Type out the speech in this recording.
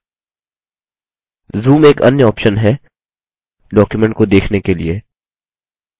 zoom एक अन्य option है document को देखने के लिए